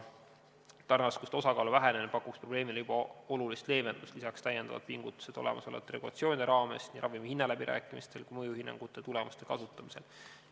Tarneraskuste osakaalu vähenemine pakuks probleemile juba olulist leevendust, samuti tuleb teha pingutusi olemasolevate regulatsioonide raames, nii ravimihinna läbirääkimistel kui ka mõjuhinnangute tulemuste kasutamisel.